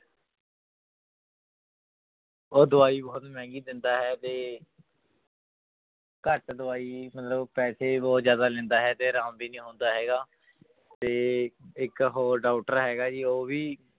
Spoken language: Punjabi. ਉਹ ਦਵਾਈ ਬਹੁਤ ਮਹਿੰਗੀ ਦਿੰਦਾ ਹੈ ਤੇ ਘੱਟ ਦਵਾਈ ਮਤਲਬ ਪੈਸੇ ਬਹੁਤ ਜ਼ਿਆਦਾ ਲੈਂਦਾ ਹੈ ਤੇ ਆਰਾਮ ਵੀ ਨੀ ਆਉਂਦਾ ਹੈਗਾ ਤੇ ਇੱਕ ਹੋਰ doctor ਹੈਗਾ ਜੀ ਉਹ ਵੀ